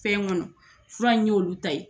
Fɛn ŋɔnɔ fura in y'olu ta ye.